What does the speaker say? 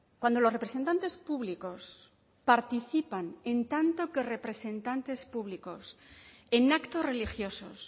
cuando los representantes públicos participan en tanto que representantes públicos en actos religiosos